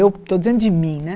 Eu estou dizendo de mim, né?